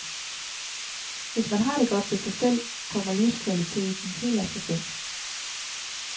Hvis man har det godt med sig selv, kommer livskvaliteten helt af sig selv.